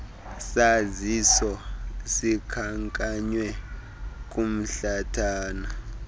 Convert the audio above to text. saziso sikhankanywe kumhlathana